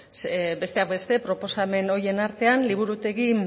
besteak beste proposamen horien artean liburutegi